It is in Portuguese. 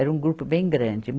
Era um grupo bem grande.